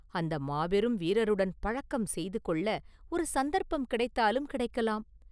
அந்த மாபெரும் வீரருடன் பழக்கம் செய்துகொள்ள ஒரு சந்தர்ப்பம் கிடைத்தாலும் கிடைக்கலாம்.